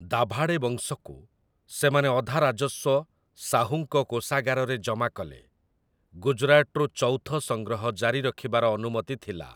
ଦାଭାଡ଼େ ବଂଶକୁ, ସେମାନେ ଅଧା ରାଜସ୍ୱ ଶାହୁଙ୍କ କୋଷାଗାରରେ ଜମା କଲେ, ଗୁଜରାଟରୁ ଚୌଥ ସଂଗ୍ରହ ଜାରି ରଖିବାର ଅନୁମତି ଥିଲା ।